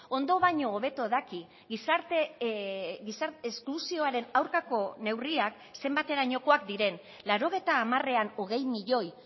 ondo baino hobeto daki gizarte esklusioaren aurkako neurriak zenbaterainokoak diren laurogeita hamarean hogei milioi